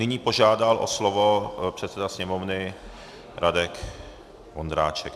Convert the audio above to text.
Nyní požádal o slovo předseda Sněmovny Radek Vondráček.